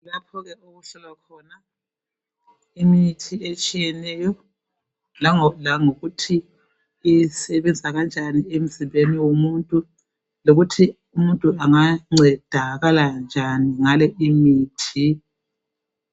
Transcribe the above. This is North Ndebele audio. Laphoke okuhlolwa khona imithi etshiyeneyo nangokuthi isebenza kanjani emizimbeni womuntu lokuthi umuntu angancedakala kanjani ngale imithi